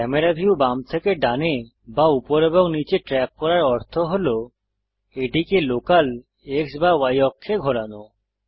camera view বাম থেকে ডানে বা উপর এবং নীচে ট্রেক করার অর্থ হল এটিকে লোকাল X বা Y অক্ষে ঘোরানো